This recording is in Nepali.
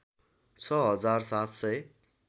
६ हजार ७ सय